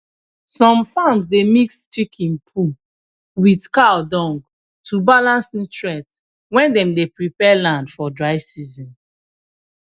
some farms dey mix chicken poo with cow dung to balance nutrient when dem dey prepare land for dry season